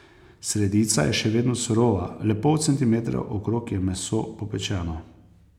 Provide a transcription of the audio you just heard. Sredica je še vedno surova, le pol centimetra okrog je meso popečeno.